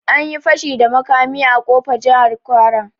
Anyi fashi da makami a ofa, Jahar kwara